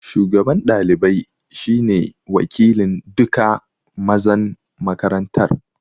Shugaban ɗalibai shi ne wakilin duka mazan makarantar